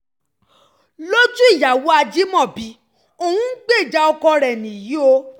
lójú ìyàwó ajímọ́bí òun ń gbèjà ọkọ rẹ̀ nìyí o